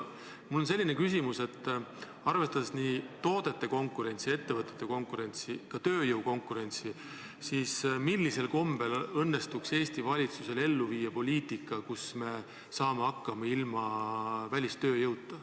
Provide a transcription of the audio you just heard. Mul on selline küsimus, et arvestades toodete konkurentsi, ettevõtete konkurentsi, ka tööjõu konkurentsi, siis millisel kombel õnnestuks Eesti valitsusel viia ellu poliitikat, mille korral me saaksime hakkama ilma välistööjõuta.